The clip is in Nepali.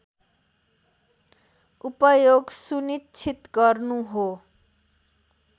उपयोग सुनिश्चित गर्नु हो